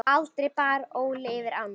Aldrei bar Óli yfir ána.